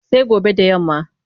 Sai gobe da yamma.